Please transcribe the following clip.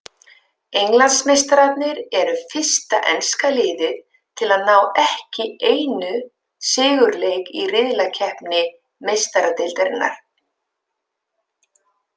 Englandsmeistararnir eru fyrsta enska liðið til að ná ekki einu sigurleik í riðlakeppni Meistaradeildarinnar.